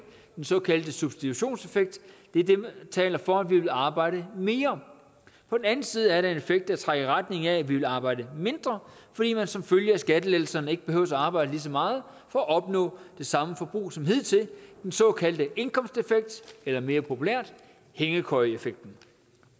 den såkaldte substitutionseffekt det er det der taler for at vi vil arbejde mere på den anden side er der en effekt der trækker i retning af at vi vil arbejde mindre fordi man som følge af skattelettelserne ikke behøver at arbejde lige så meget for at opnå det samme forbrug som hidtil den såkaldte indkomsteffekt eller mere populært hængekøjeeffekten